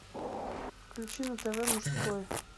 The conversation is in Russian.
включи на тв мужской